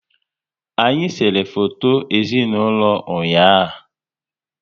Anyị sere foto ezinaụlọ ụnyaahụ